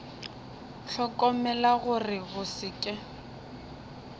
hlokomela gore go se ke